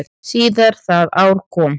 Síðar það ár kom